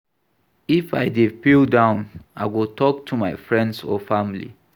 If I dey feel down, I go talk to my friends or family.